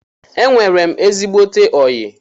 Enwere m ezigbote oyi